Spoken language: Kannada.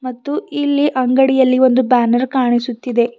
ಮತ್ತು ಇಲ್ಲಿ ಅಂಗಡಿಯಲ್ಲಿ ಒಂದು ಬ್ಯಾನರ್ ಕಾಣಿಸುತ್ತಿದೆ.